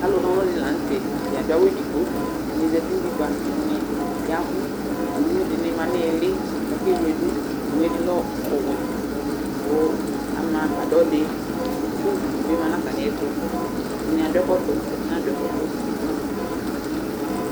Alʋna ɔlʋ dɩnɩ la nʋ tɛ Atanɩ adʋ awʋ edigbo Ɛdɩnɩ zati nʋ utikpa, ɛdɩnɩ ya ɛvʋ Owu dɩnɩ ma nʋ ɩɩlɩ kʋ akewle dʋ Owu yɛ ɛdɩ lɛ ɔwɛ kʋ ama agbadɔ dɩ kʋ ugli dɩ ma nʋ atamɩɛtʋ Ɛdɩ adʋ ɛkɔtɔ, ɛdɩnɩ nadʋ ɛkɔtɔ